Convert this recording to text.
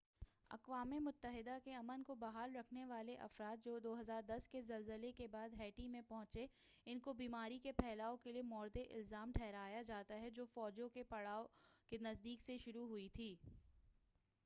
اقوام متحدہ کے امن کو بحال رکھنے والے افراد جو 2010 کے زلزلے کے بعد ہیٹی میں پہنچے اُن کو بیماری کے پھیلاؤ کے لیے مورد الزام ٹھہرایا جاتا ہے جو فوجوں کے پڑاؤ کے نزدیک سے شروع ہوئی تھی